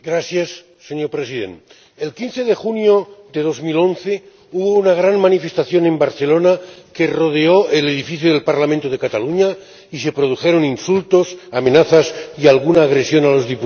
Señor Presidente, el 15 de junio de 2011 hubo una gran manifestación en Barcelona, que rodeó el edificio del Parlamento de Cataluña, y se produjeron insultos, amenazas y alguna agresión a los diputados.